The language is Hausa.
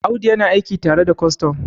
Audu yana aiki tare da kwastan